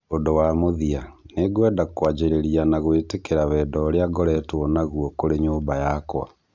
Ũndũ wa mũthia "nĩngwenda kwanjĩrĩria na gwĩtĩkĩra wendo ũrĩa ngoretwo naguo kũrĩ nyũmba yakwa"